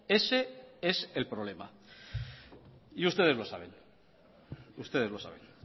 ese es el problema y ustedes lo saben